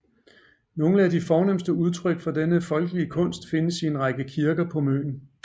Nogle af de fornemste udtryk for denne folkelige kunst findes i en række kirker på Møn